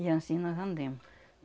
E anssim nós andemos.